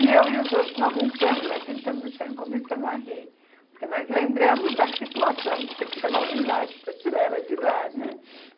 E eu e os outros não aguentamos, nós sentamos no chão e começamos a rir, porque nós lembramos da situação de ter que chamar o guindaste para tirar ela de lá, né.